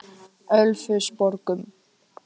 Ölfusborgum